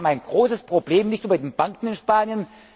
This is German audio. sind. Wir haben ein großes Problem nicht nur bei den Banken